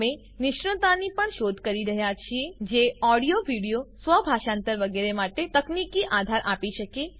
અમે નિષ્ણાતની પણ શોધ કરી રહ્યા છીએ જે ઓડીયો વિડીઓ સ્વભાષાંતર વગેરે માટે તકનીકી આધાર આપી શકે